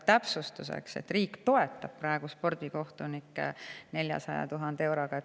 Täpsustan, et riik toetab praegu spordikohtunikke 400 000 euroga.